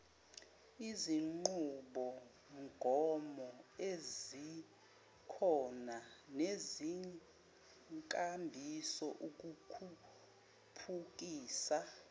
izinqubomgomoezikhona nezinkambiso ukukhuphukisa